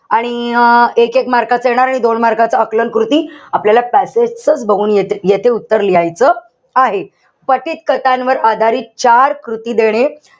आणि एकेक mark च येणार. आणि दोन mark च आकलनकृती आपल्याला passage चच बघून ये येथे उत्तर लिहायचं आहे. पठीत कथांवर आधारित चार कृती देणे.